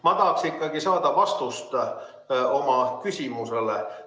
Ma tahaksin ikkagi saada vastust oma küsimusele.